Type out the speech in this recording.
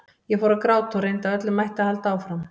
Ég fór að gráta og reyndi af öllum mætti að halda áfram.